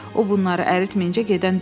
O bunları əritməyincə gedən deyil.